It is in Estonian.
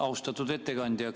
Austatud ettekandja!